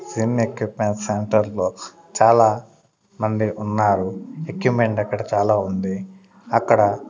Sin equipment centre లో చాలా మంది ఉన్నారు ఎక్కుప్మెంట్ అక్కడ చాలా ఉంది అక్కడ.